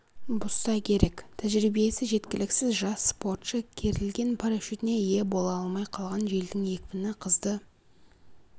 бұзса керек тәжірибесі жеткіліксіз жас спортшы керілген парашютіне ие бола алмай қалған желдің екпіні қызды